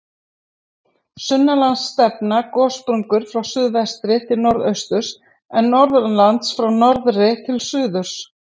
Sunnanlands stefna gossprungur frá suðvestri til norðausturs, en norðanlands frá norðri til suðurs.